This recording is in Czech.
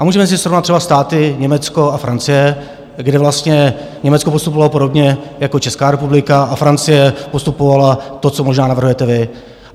A můžeme si srovnat třeba státy Německo a Francie, kde vlastně Německo postupovala podobně jako Česká republika a Francie postupovala, to, co možná navrhujete vy.